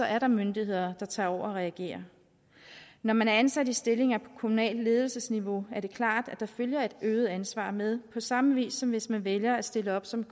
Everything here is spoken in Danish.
er myndigheder der tager over og reagerer når man er ansat i stillinger på kommunalt ledelsesniveau er det klart at der følger et øget ansvar med på samme vis som hvis man vælger at stille op som